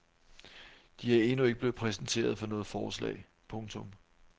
De er endnu ikke blevet præsenteret for noget forslag. punktum